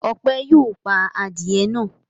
Ọpẹ́ yóò pa adìẹ náà.